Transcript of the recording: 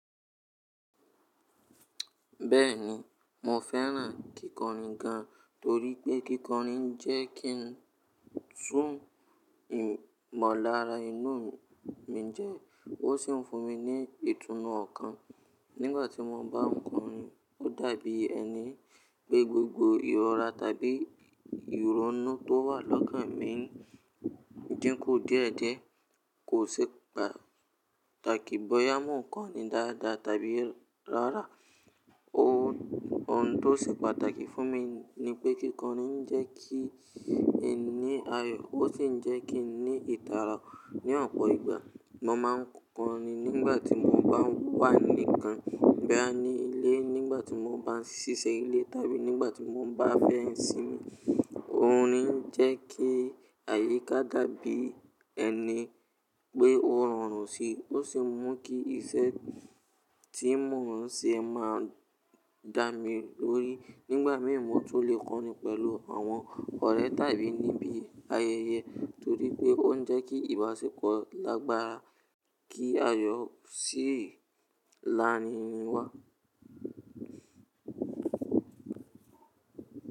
Bẹ́ẹ̀ni, mo fẹ́ràn kíkọrin gan, torí pé kíkọrin jẹ́ kí n tún ìmọ̀lára inú mi jẹ, ó sì ń fún mi ní ìtúnnu ọ̀kan nígbàtí mo bá n kọrin. Ó dàbí ẹni pé gbogbo ìrora tàbí ìrọ̀nú tó wà lọ́kàn mi dínkù díẹ̀díẹ̀. Kò ṣe pàtàkì bóyá mo n kọrin dáadáa tàbí rárá. Ohun tó ṣe pàtàkì fún mi ni pé kíkọrin ń jẹ́ kí n ní ayọ, ó sì ń jẹ́ kí n ní ìtara. Ni ọ̀pọ̀ ìgbà, mo máa n kọrin nígbàtí mo bá wà nìkan bí ẹni ilé, nígbàtí mo bá ń ṣiṣẹ́ ilé tàbí nígbàtí mo bá fẹ́ ń sin. Orin ń jẹ́ kí àyíká dàbí ẹni pé ó rọrùn síi, ó sì mú kí iṣẹ́ tí mo n ṣe máa dà mí lórí. Nígbà mìí, mo lè kọrin pẹ̀lú àwọn ọ̀rẹ́ tàbí níbi ayẹyẹ, torí pé ó ń jẹ́ kí ìbáṣepọ̀ lágbára kí ayọ sì làrín wá.